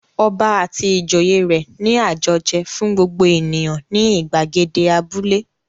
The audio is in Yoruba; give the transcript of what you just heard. Ọba àti ìjòyè rẹ̀ ní àjọjẹ fún gbogbo ènìyàn ní ìgbàgede abúlé.